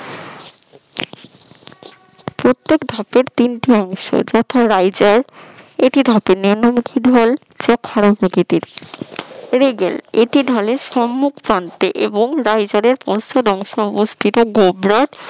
প্রত্যেক ধাপে তিনটি অংশ প্রথমে এটি ধাতুর নিম্নমুখী ঢাল এটি ঢালের সম্মুখ প্রান্ত এবং রাইজার এর পশ্চাৎ অংশ অবস্থিত গোবলাট